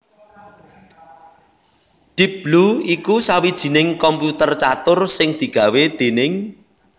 Deep Blue iku sawijining komputer catur sing digawé déning